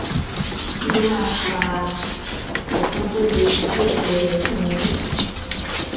kí ló máa ń fa òfun tó le tí ẹsè rè sì ń wú um